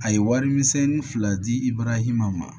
A ye warimisɛnnin fila di i barahima ma